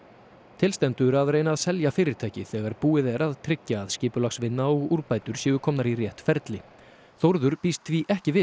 til stendur að reyna að að selja fyrirtækið þegar búið er að tryggja að skipulagsvinna og úrbætur séu komnar í rétt ferli Þórður býst því ekki við